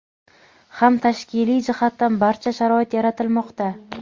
ham tashkiliy jihatdan barcha sharoit yaratilmoqda.